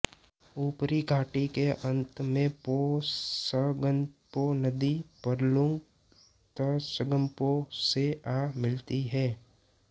ऊपरी घाटी के अंत में पो त्संगपो नदी यरलुंग त्संगपो से आ मिलती है